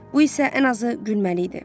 Bu isə ən azı gülməli idi.